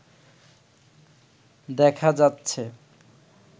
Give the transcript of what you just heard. দেখা যাচ্ছে